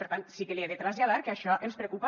per tant sí que li he de traslladar que això ens preocupa